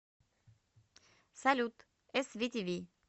салют эс ви ти ви